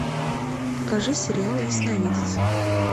покажи сериал ясновидец